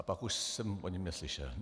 A pak už jsem o něm neslyšel.